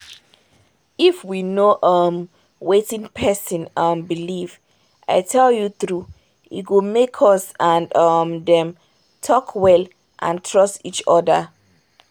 if we know hmm! wetin person um believe i tell you true e go make us and um dem talk well and trust each other.